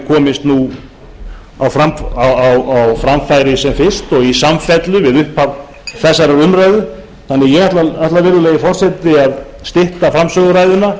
komist á framfæri sem fyrst og í samfellu við upphaf þessarar umræðu ég ætla því virðulegi forseti að stytta framsöguræðuna